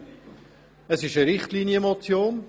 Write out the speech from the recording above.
Es handelt sich um eine Richtlinienmotion.